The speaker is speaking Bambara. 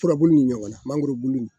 Furabulu ni ɲɔgɔn na mangolo bulu